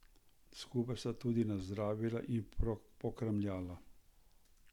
Skupaj sta tudi nazdravila in pokramljala.